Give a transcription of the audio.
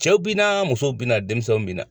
Cɛw bi na, musow bi na, denmisɛnw bi na.